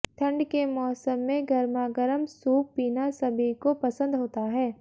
ठंड के मौसम में गरमागरम सूप पीना सभी को पसंद होता है